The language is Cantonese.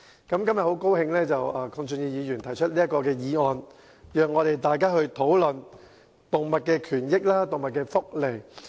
今天，我很高興鄺俊宇議員提出這項議案，讓大家討論動物權益及福利。